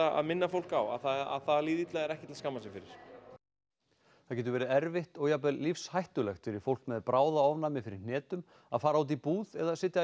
að minna fólk á að það að líða illa er ekkert til að skammast sín fyrir það getur verið erfitt og jafnvel lífshættulegt fyrir fólk með bráðaofnæmi fyrir hnetum að fara út í búð eða sitja í